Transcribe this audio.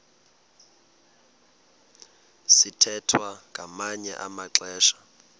sithwethwa ngamanye amaxesha